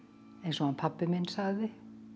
eins og hann pabbi minn sagði